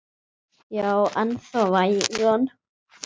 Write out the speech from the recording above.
Já en þó vægan.